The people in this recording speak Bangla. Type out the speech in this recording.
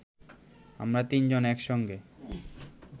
আমরা তিনজন একসঙ্গে